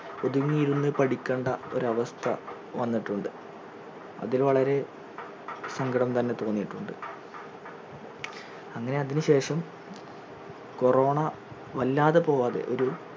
ഒതുങ്ങിയിരുന്ന് പഠിക്കണ്ട ഒരു അവസ്ഥ വന്നിട്ടുണ്ട് അതിൽ വളരെ സങ്കടം തന്നെ തോന്നിയിട്ടുണ്ട് അങ്ങനെ അതിനുശേഷം corona വല്ലാതെ പോവാതെ ഒരു